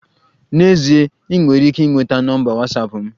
N'ezie, ị nwere ike ịnweta nọmba Watsapụ m